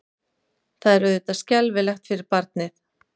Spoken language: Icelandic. Það er auðvitað skelfilegt fyrir barnið.